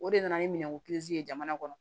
O de nana ni minɛn ko ye jamana kɔnɔ